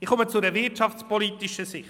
Ich komme zur wirtschaftspolitischen Sicht.